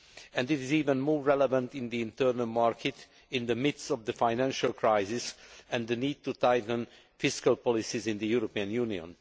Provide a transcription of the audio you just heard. and it is even more relevant in the internal market in the midst of the financial crisis and the need to tighten fiscal policies in the European Union.